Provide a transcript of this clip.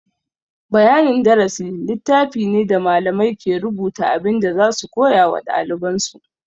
Bayanin darasi littafi ne da malamai ke rubuta abin da za su koya wa ɗaliban su.